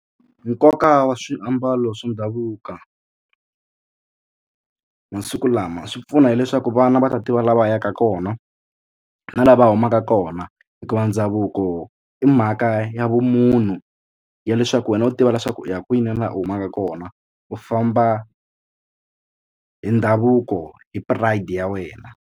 Nkoka wa swiambalo swa ndhavuko masiku lama swi pfuna hileswaku vana va ta tiva la va yaka kona na la va humaka kona hikuva ndhavuko i mhaka ya vumunhu ya leswaku wena u tiva leswaku u ya kwini laha u humaka kona u famba hi ndhavuko hi pride ya wena.